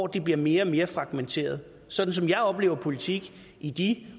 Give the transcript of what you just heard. det bliver mere og mere fragmenteret sådan som jeg har oplevet politik i de